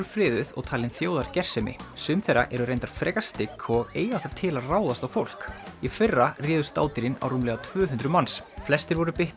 friðuð og talin þjóðargersemi sum þeirra eru reynda frekar stygg og eiga það til að ráðast á fólk í fyrra réðust á rúmlega tvö hundruð manns flestir voru